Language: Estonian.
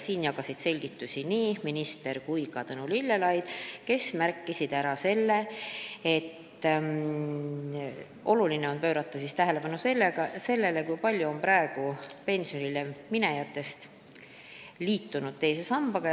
Selle kohta jagasid selgitusi nii minister kui ka Tõnu Lillelaid, kes märkisid, et oluline on pöörata tähelepanu sellele, kui palju on praegu pensionile minejatest liitunud teise sambaga.